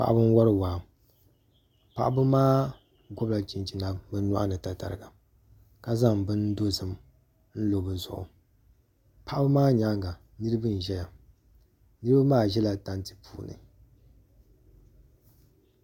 Paɣaba n wori waa paɣaba maa gobila chinchina bi nyoɣani tatariga ka zaŋ bini dozim n lo bi zuɣu paɣaba maa nyaanga niraba n ʒɛya niraba maa ʒɛla tanti ni